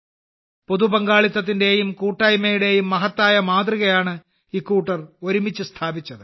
പൊതുപങ്കാളിത്തത്തിന്റെയും കൂട്ടായ്മയുടെയും മഹത്തായ മാതൃകയാണ് ഇക്കൂട്ടർ ഒരുമിച്ച് സ്ഥാപിച്ചത്